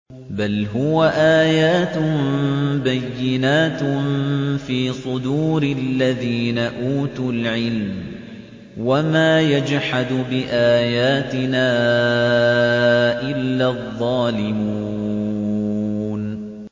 بَلْ هُوَ آيَاتٌ بَيِّنَاتٌ فِي صُدُورِ الَّذِينَ أُوتُوا الْعِلْمَ ۚ وَمَا يَجْحَدُ بِآيَاتِنَا إِلَّا الظَّالِمُونَ